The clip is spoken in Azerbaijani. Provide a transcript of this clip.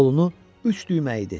Qolunu üç düymə idi.